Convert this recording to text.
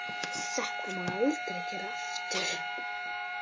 Þetta máttu aldrei gera aftur!